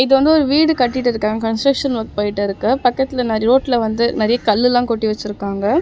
இது வந்து ஒரு வீடு கட்டிட்டுருக்காங்க கன்ஸ்ட்ரக்சன் வொர்க் போயிட்ருக்கு பக்கத்துல நறய ரோட்ல வந்து நெறைய கல்லுல்லாம் கொட்டி வெச்சிருக்காங்க.